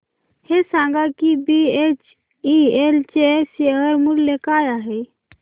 हे सांगा की बीएचईएल चे शेअर मूल्य काय आहे